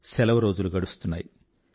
సెలవు రోజులు గడుస్తున్నాయి